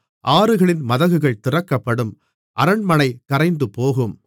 ஆறுகளின் மதகுகள் திறக்கப்படும் அரண்மனை கரைந்துபோகும்